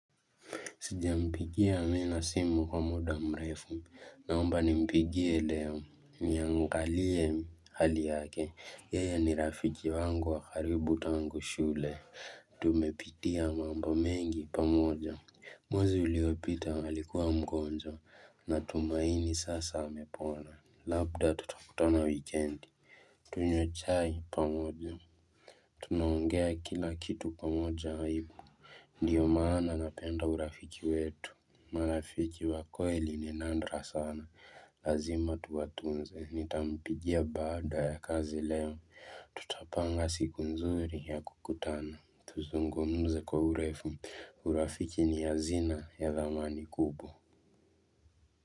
Sijampigia Amina simu kwa muda mrefu. Naomba nimpigie leo. Niangalie hali yake. Yeye ni rafiki wangu wa karibu tangu shule. Tumepitia mambo mengi pamoja. Mwezi uliopita alikuwa mgonjwa. Natumaini sasa amepona. Labda tutakutana wikendi. Tunywe chai pamoja. Tunaongea kina kitu pamoja aigu. Ndiyo maana napenda urafiki wetu, marafiki wa kweli ni nandra sana, lazima tuwatunze, nitampigia baada ya kazi leo, tutapanga siku nzuri ya kukutana, tuzungumze kwa urefu, urafiki ni hazina ya thamani kubwa.